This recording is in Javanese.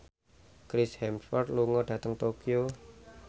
Chris Hemsworth lunga dhateng Tokyo